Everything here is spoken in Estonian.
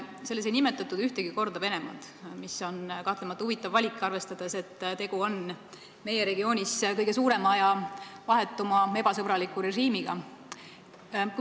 Selles ei nimetatud ühtegi korda Venemaad, mis on kahtlemata huvitav valik, arvestades, et tegu on meie regiooni kõige suurema ja vahetuma ebasõbraliku režiimiga.